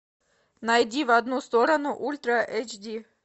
найди в одну сторону ультра эйч ди